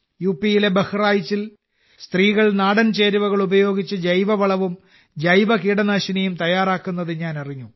യിലെ ബഹ്റായിച്ചിൽ സ്ത്രീകൾ നാടൻ ചേരുവകൾ ഉപയോഗിച്ച് ജൈവവളവും ജൈവകീടനാശിനിയും തയ്യാറാക്കുന്നത് ഞാൻ അറിഞ്ഞു